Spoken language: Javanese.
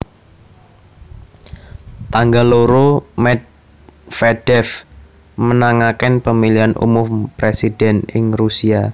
Tanggal loro Medvedev menangaken Pemilihan Umum Presiden ing Rusia